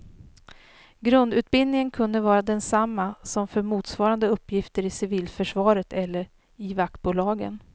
Grundutbildningen kunde vara densamma som för motsvarande uppgifter i civilförsvaret eller i vaktbolagen.